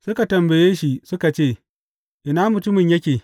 Suka tambaye shi suka ce, Ina mutumin yake?